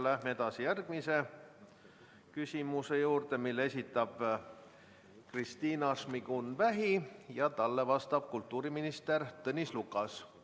Läheme edasi järgmise küsimuse juurde, mille esitab Kristina Šmigun-Vähi ja talle vastab kultuuriminister Tõnis Lukas.